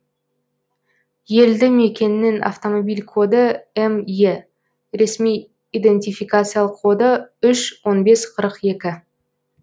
елді мекеннің автомобиль коды ме ресми идентификациялық коды үш он бес қырық екі